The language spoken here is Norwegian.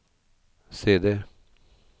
CD